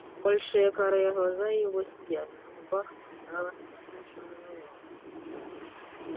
большие карие глаза его сияли на губах играла смущённая улыбка